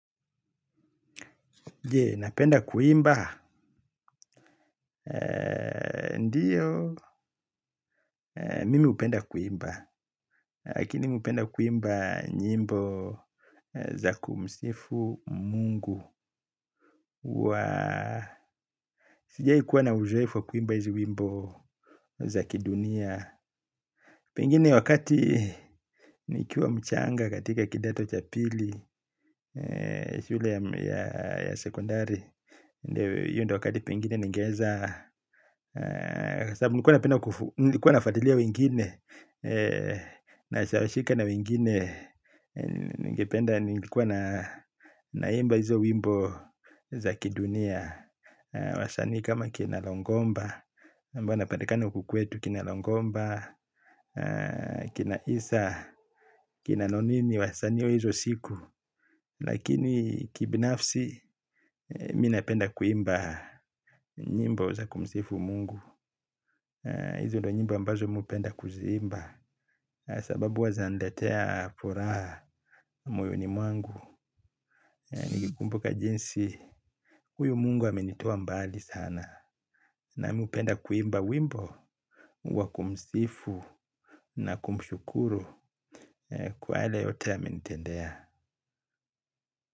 Je, napenda kuimba, ndiyo, mimi hupenda kuimba, lakini mi hupenda kuimba nyimbo za kumsifu mungu huwa, sijaikuwa na uzoefu wa kuimba hizi wimbo za kidunia. Pengine wakati nikiwa mchanga katika kidato cha pili shule ya sekondari hiyo ndio wakati pengine ningeweza. Sababu nilikuwa nafuatilia wengine. Nashawashika na wengine. Ningependa nilikuwa na naimba hizo wimbo za kidunia. Wasanii kama kina longomba ambao wanapatikana huku kwetu kina longomba. Kina isa, kina nonini wasanii wa hizo siku. Lakini kibinafsi, mi napenda kuimba. Nyimbo za kumsifu mungu. Hizo ndo nyimbo ambazo mi hupenda kuziimba. Sababu huwa zinaniletea furaha moyoni mwangu. Nikikumbuka jinsi, huyu mungu amenitoa mbali sana. Namu hupenda kuimba wimbo wa kumsifu na kumshukuru kwa yale yote amenitendea.